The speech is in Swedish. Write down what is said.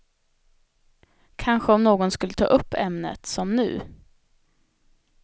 Kanske om någon skulle ta upp ämnet, som nu.